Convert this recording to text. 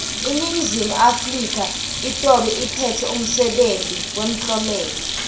iningizimu afrika itobe iphetse umsebenti wemtlomelo